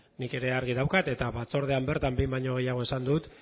nik ere argi daukat eta batzordean bertan behin baino gehiagotan esan dut